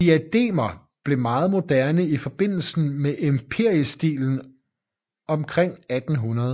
Diademer blev meget moderne i forbindelse med empirestilen omkring 1800